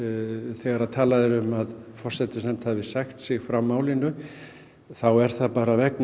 þegar talað er um að forsætisnefnd hafi sagt sig frá málinu þá er það bara vegna